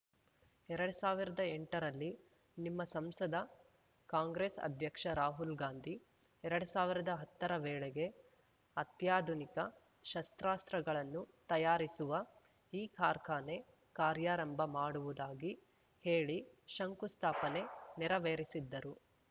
ಎರಡ್ ಸಾವಿರ್ದಾ ಎಂಟರಲ್ಲಿ ನಿಮ್ಮ ಸಂಸದ ಕಾಂಗ್ರೆಸ್ ಅಧ್ಯಕ್ಷ ರಾಹುಲ್ ಗಾಂಧಿ ಎರಡ್ ಸಾವಿರ್ದಾ ಹತ್ತರ ವೇಳೆಗೆ ಅತ್ಯಾಧುನಿಕ ಶಸ್ತ್ರಾಸ್ತ್ರಗಳನ್ನು ತಯಾರಿಸುವ ಈ ಕಾರ್ಖಾನೆ ಕಾರ್ಯರಂಭ ಮಾಡುವುದಾಗಿ ಹೇಳಿ ಶಂಕು ಸ್ಥಾಪನೆ ನೆರವೇರಿಸಿದ್ದರು